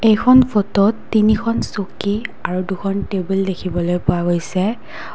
এইখন ফটোত তিনিখন চকী আৰু দুখন টেবুল দেখিবলৈ পোৱা গৈছে।